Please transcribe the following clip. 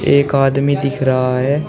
एक आदमी दिख रहा है।